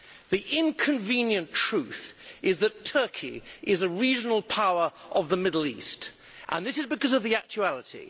The inconvenient truth is that Turkey is a regional power of the Middle East, and this is because of the actuality.